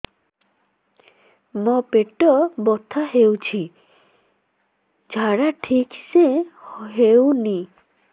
ମୋ ପେଟ ବଥା ହୋଉଛି ଝାଡା ଠିକ ସେ ହେଉନି